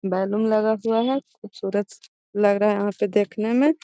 Balloon लगा हुआ है खूबसूरत लग रहा है यहाँ पे देखने में।